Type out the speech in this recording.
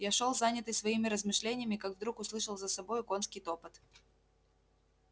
я шёл занятый своими размышлениями как вдруг услышал за собою конский топот